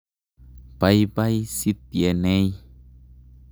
Paipai Sitienei.